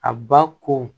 A ba ko